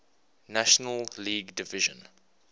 national league division